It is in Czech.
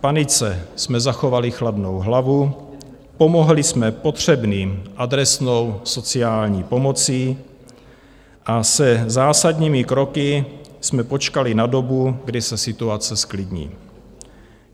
V panice jsme zachovali chladnou hlavu, pomohli jsme potřebným adresnou sociální pomocí a se zásadními kroky jsme počkali na dobu, kdy se situace zklidní.